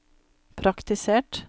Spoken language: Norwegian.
praktisert